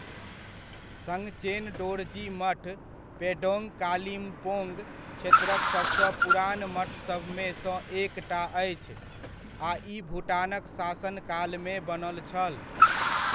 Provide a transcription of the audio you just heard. संगचेन डोरजी मठ पेडोंग कालिम्पोंग क्षेत्रक सबसँ पुरान मठसभमे सँ एकटा अछि आ ई भूटानक शासनकालमे बनल छल।